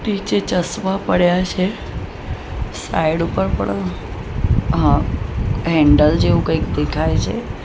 નીચે ચશ્મા પડ્યા છે સાઈડ પર પણ હ-હેન્ડલ જેવું કઈક દેખાય છે.